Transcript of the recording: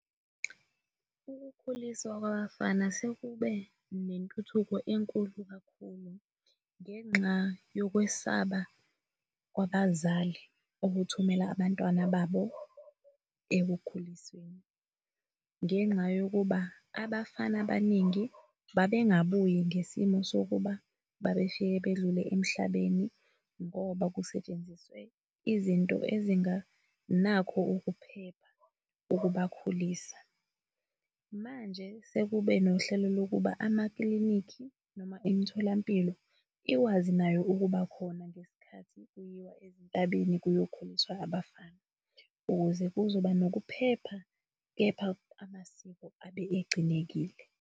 Ukukhuliswa kwabafana sekube nentuthuko enkulu kakhulu ngenxa yokwesaba kwabazali ukuthumela abantwana babo ekukhulisweni. Ngenxa yokuba abafana abaningi babengabuyi ngesimo sokuba babefike bedlule emhlabeni ngoba kusetshenziswe izinto ezinganakho ukuphepha ukubakhulisa. Manje sekube nohlelo lokuba amaklinikhi noma imitholampilo ikwazi nayo ukubakhona ngesikhathi kuyiwa ezintabeni kuyokhuliswa abafana ukuze kuzoba nokuphepha kepha amasiko abe egcinekile.